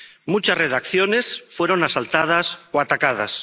Muchas redacciones fueron asaltadas o atacadas.